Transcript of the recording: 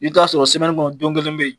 I bi t'a sɔrɔ semini kɔnɔ don kelen be ye